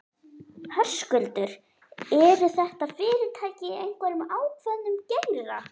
Höskuldur: Eru þetta fyrirtæki í einhverjum ákveðnum geira?